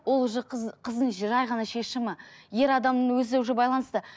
ол уже қыз қыздың шешімі ер адамның өзі уже байланысты